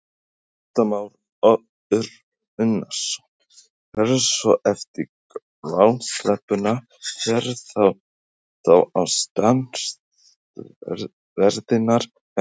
Kristján Már Unnarsson: Ferðu svo eftir grásleppuna, ferðu þá á strandveiðarnar eða hvað?